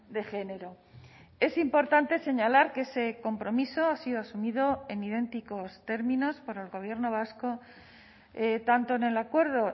de género es importante señalar que ese compromiso ha sido asumido en idénticos términos por el gobierno vasco tanto en el acuerdo